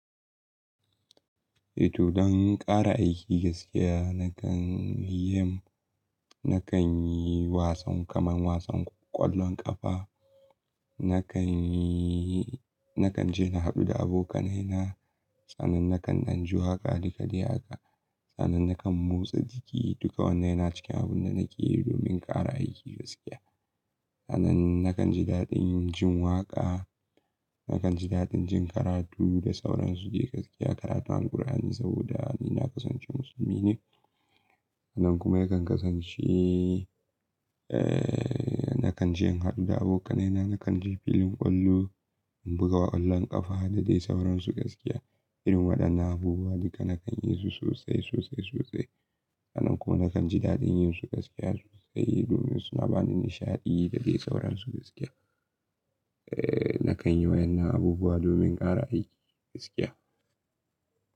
Eh to, don ƙara aiki gaskiya nakan yi, nakan yi wasan kamar wasan ƙwallon ƙafa, nakan yi, nakan je na haɗu da abokanai na. Sannan nakan anji waka haka dai haka. Sannan nakan motsa jiki duka wannan yana cikin abun da nake yi domin ƙara aiki gaskiya. Sannan nakan ji daɗin jin waƙa, nakan ji daɗin jin karatu da sauransu dai gaskiya. Karatu Al-ƙur'ani saboda ni na kasance musulmi ne. Sannan kuma yakan kasance, eh nakan je in haɗu da abokanai na, nakan je filin ƙwallo in buga ƙwallon ƙafa da dai sauransu gaskiya. Irin waɗannan abubuwa duka nakan yi su sosai, sosai, sosai. Sannan kuma nakan ji daɗin yin su gaskiya sosai domin suna bani nishaɗi da dai sauransu gaskiya. Eh nakan yi waɗannan abubuwa domin ƙara aiki gaskiya.